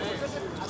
Hazır olmaz.